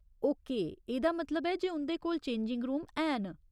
Okay, एह्दा मतलब ऐ जे उं'दे कोल चेंजिंग रूम हैन।